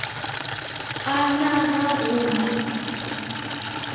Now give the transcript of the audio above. a na ga go na